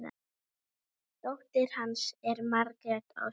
Dóttir hans er Margrét Ósk.